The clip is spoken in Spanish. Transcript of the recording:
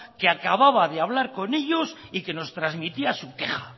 que acababa de hablar con ellos y que nos transmitía su queja